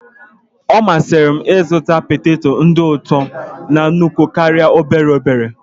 Ọ masịrị m ịzụta poteto dị ụtọ na nnukwu karịa n'obere obere.